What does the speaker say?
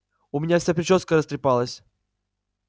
у меня вся причёска растрепалась